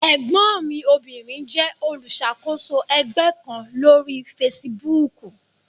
Ẹ̀gbọ́n mi obìnrin jẹ́ olùṣàkóso ẹgbẹ́ kan lórí fesibúùkù.